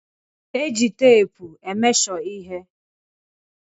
E ji teepu e mesho ihe.